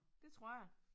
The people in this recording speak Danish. Det tror jeg